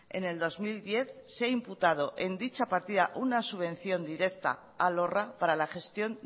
en el dos mil diez se ha imputado en dicha partida una subvención directa a lorra para la gestión